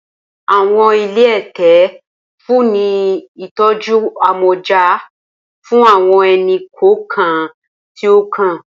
Awọn ile ẹtẹ nfunni ni itọju amọja fun awọn ẹni-kọọkan ti o kan.